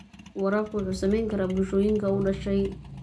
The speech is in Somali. Waraabka wuxuu saameyn karaa bulshooyinka u dhashay.